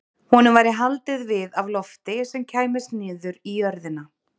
Honum væri haldið við af lofti sem kæmist niður í jörðina.